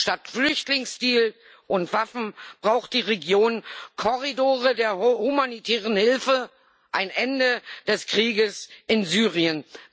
Statt Flüchtlingsdeal und Waffen braucht die Region Korridore der humanitären Hilfe, ein Ende des Krieges in Syrien.